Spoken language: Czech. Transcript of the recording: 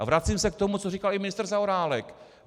A vracím se k tomu, co říkal i ministr Zaorálek.